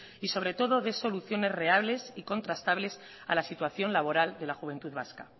y sobre todo de soluciones reales y contrastables a la situación laboral de la juventud vasca